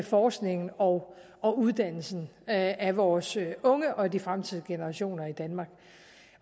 forskningen og og uddannelsen af vores unge og af de fremtidige generationer i danmark